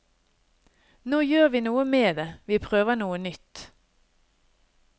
Nå gjør vi noe med det, vi prøver noe nytt.